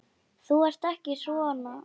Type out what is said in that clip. Þú ert ekki svona.